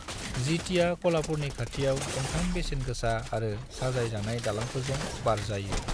जीतीया कोल्हापुरनि खाथियाव गंथाम बेसेन गोसा आरो साजाय जानाय दालांफोरजों बारजायो।